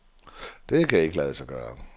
Det kan ikke lade sig gøre.